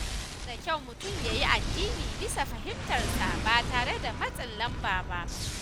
Yana da kyau mutum ya yi addini bisa fahimtarsa ba tare da matsin lamba ba.